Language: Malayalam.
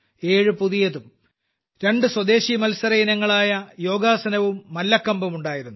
ഏഴ് പുതിയതും രണ്ട് സ്വദേശി മത്സരയിനങ്ങളായ യോഗാസനവും മല്ലഖമ്പും ഉണ്ടായിരുന്നു